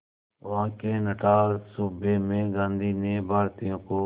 वहां के नटाल सूबे में गांधी ने भारतीयों को